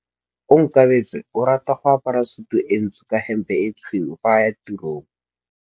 Onkabetse o rata go apara sutu e ntsho ka hempe e tshweu fa a ya tirong.